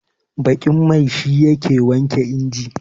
baƙin mai shi yake wanke inji